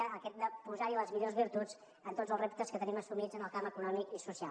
que hem de posar hi les millors virtuts en tots els reptes que tenim assumits en el camp econòmic i social